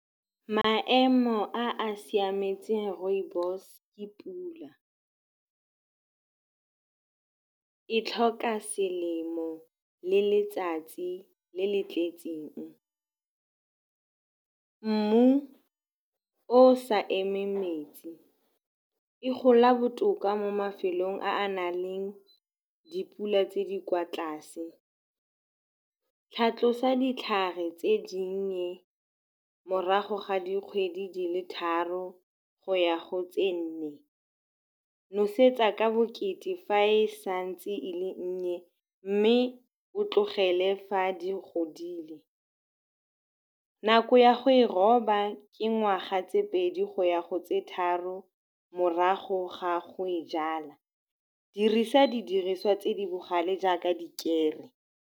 Maemo a a siametseng rooibos-e ke pula e tlhoka selemo le letsatsi le le tletseng, mmu o sa emeng metsi. E gola botoka mo mafelong a a nang le dipula tse di kwa tlase. Tlhatlosa ditlhare tse dinnye morago ga dikgwedi di le tharo go ya go tse nne. Nosetsa ka bokete fa e sa ntse e le nnye, mme o tlogele fa di godile. Nako ya go e roba ke ngwaga tse pedi go ya go tse tharo morago ga go e jala. Dirisa didiriswa tse di bogale jaaka dikere.